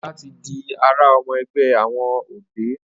Ola tí dì àrà ọmọ ẹgbẹ àwọn ọdẹ.